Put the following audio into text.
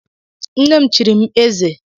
Nne m chiri m eze.